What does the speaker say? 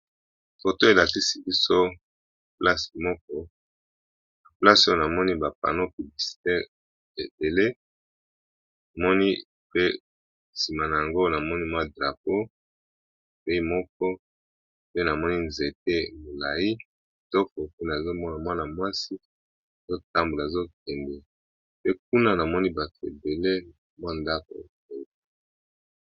Na balabala oyo, toza komona ba pancarte ya misala ndenge na ndenge. Kasi ezali nanu na moko ya munene ezali ko lakisa bisika mibale bato bafandaka. Yango eza na langi ya bozinga na langi ya pembe. Na se nango, toza na oyo ya MTN esalisaka bato komona internet. Ezali bongo na langi ya mosaka, ya bozinga pe ya pembe. Ya suka ezali nde ya photo-print yango ezali na langi ya mosaka na langi ya mwindo.